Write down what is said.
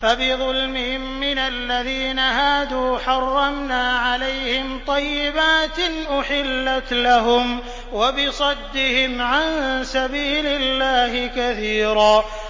فَبِظُلْمٍ مِّنَ الَّذِينَ هَادُوا حَرَّمْنَا عَلَيْهِمْ طَيِّبَاتٍ أُحِلَّتْ لَهُمْ وَبِصَدِّهِمْ عَن سَبِيلِ اللَّهِ كَثِيرًا